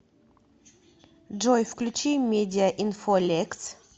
джой включи медиа инфо лекс